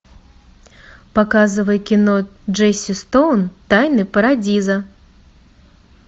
показывай кино джесси стоун тайны парадиза